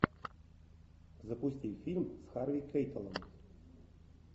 запусти фильм с харви кейтелем